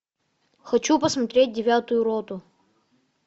хочу посмотреть девятую роту